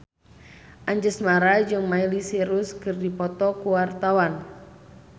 Anjasmara jeung Miley Cyrus keur dipoto ku wartawan